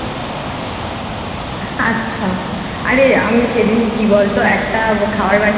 আচ্ছা আরে আমি সেদিন কি বল তো একটা খাবার বানিয়েছি।